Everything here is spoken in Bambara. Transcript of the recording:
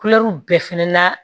Kulɛriw bɛɛ fana la